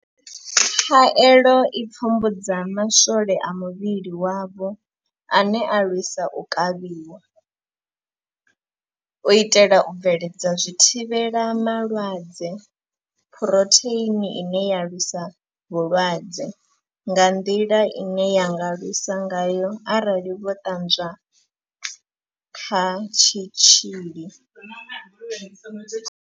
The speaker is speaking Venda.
Khaelo i pfumbudza ma swole a muvhili wavho ane a lwisa u kavhiwa, u itela u bveledza zwithivhela malwadze phurotheini ine ya lwisa vhulwadze nga nḓila ine ya nga lwisa ngayo arali vho ṱanzwa kha tshitzhili.